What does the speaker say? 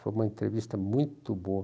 Foi uma entrevista muito boa.